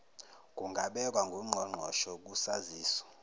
kungabekwa ngungqongqoshe kusaziso